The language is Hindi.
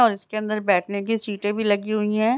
और इसके अंदर बैठे ने की सीटें भी लगी हुई हैं।